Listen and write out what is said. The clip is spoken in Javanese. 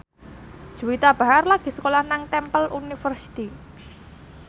Juwita Bahar lagi sekolah nang Temple University